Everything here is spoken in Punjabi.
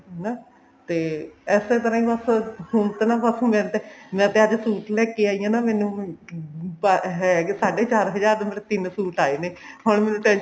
ਹਨਾ ਤੇ ਇਸੇ ਤਰ੍ਹਾਂ ਹੀ ਬਸ ਹੁਣ suit ਤਾਂ ਨਾ ਬਸ ਹੁਣ ਏਦਾਂ ਮੈਂ ਤਾਂ ਅੱਜ suit ਲੇਕੇ ਆਈ ਹਾਂ ਨਾ ਮੈਨੂੰ ਹੈ ਕੇ ਸਾਡੇ ਚਾਰ ਹਜ਼ਾਰ ਦੇ ਤਿੰਨ suit ਆਏ ਨੇ ਹੁਣ ਮੈਨੂੰ mention